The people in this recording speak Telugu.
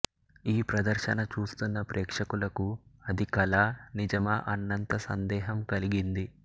ఈ ప్రదర్శన చూస్తున్న ప్రేక్షకులకు అది కలా నిజమా అన్నంత సందేహం కలిగింది